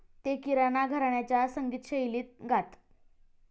ते किराणा घराण्याच्या संगीतशैलीत गात.